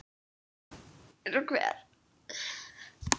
Eins og hver?